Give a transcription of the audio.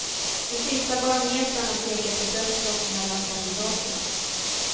De sista barometrarna pekar på dött lopp mellan kandidaterna.